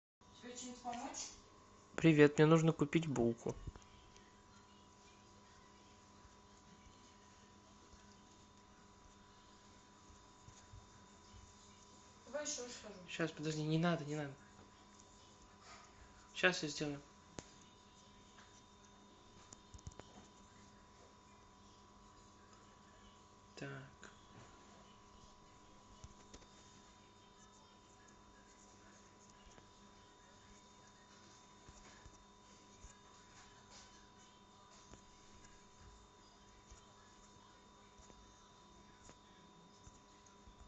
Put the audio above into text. привет мне нужно купить булку